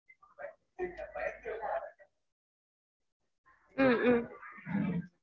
உம் உம்